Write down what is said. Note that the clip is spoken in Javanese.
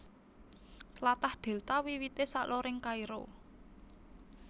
Tlatah Dèlta wiwité saloring Kairo